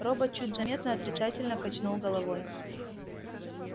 робот чуть заметно отрицательно качнул головой